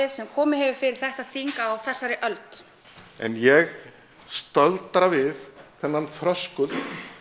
sem komið hefur fyrir þetta þing á þessari öld en ég staldra við þennan þröskuld